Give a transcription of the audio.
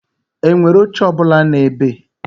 Enwere oche ọ bụla nu ebe?